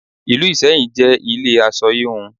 Ìlú Ìsẹ́yìn jẹ́ ilé aṣọ híhun.